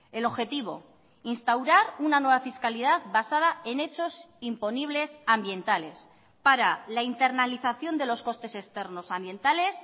el objetivo instaurar una nueva fiscalidad basada en hechos imponibles ambientales para la internalización de los costes externos ambientales